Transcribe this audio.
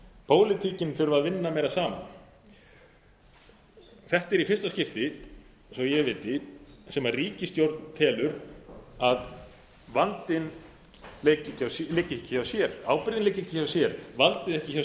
pólitíkin þurfi að vinna meira saman þetta er í fyrsta skipti svo ég viti sem ríkisstjórn telur að vandinn liggi ekki hjá sér ábyrgðin liggi ekki hjá sér valdið